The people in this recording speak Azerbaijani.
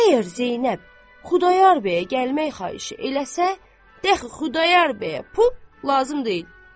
Əgər Zeynəb Xudayar bəyə gəlmək xahişi eləsə, dəxi Xudayar bəyə lazım deyil.